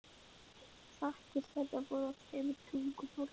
Þakkir þeirra voru á þremur tungumálum.